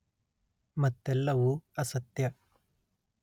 ಮತ್ತೆಲ್ಲವೂ ಅಸತ್ಯ